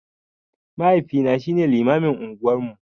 Mahaifina shine limamin unguwan mu.